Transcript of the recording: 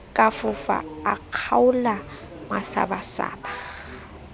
ka fofa a kgaola masabasaba